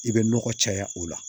I bɛ nɔgɔ caya o la